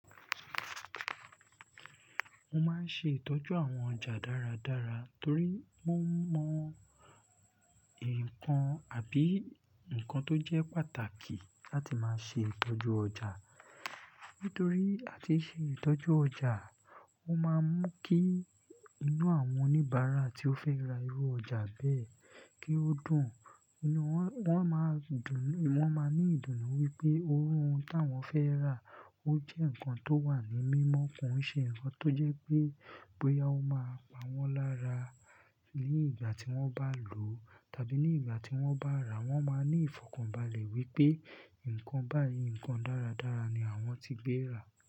Mo máa ń ṣe ìtọ́jú àwọn ọjà dáradára torí wọ́n mọ ńǹkan àbí ǹkan tó jẹ́ pàtàkì láti máa ṣe ìtọ́jú ọjà. Nítorí àti ṣe ìtọ́jú ọjà, wọ́n máa mú kí inú àwọn oníbàárà tí ó fẹ́ ra irú ọjà bẹ́ẹ̀ kí ó dùn. Wọ́n máa ní ìdùnnú wípé ohun táwọn fẹ́ rà ó jẹ́ ǹkan tó wà ní mímọ́, kò ń ṣe ǹkan tó jẹ́ pé, boya ó máa pa wọ́n lára ní ìgbà tí wọ́n bá lòó tàbí ní ìgbà tí wọ́n bá ràá, wọ́n máa ní ìfọ̀kànbalẹ̀ wípé ǹkan báyìí, ǹkan dáradára ni àwọn ti gbé rà.